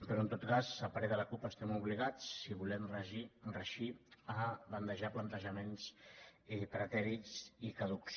però en tot cas a parer de la cup estem obligats si volem reeixir a bandejar plantejaments pretèrits i caducs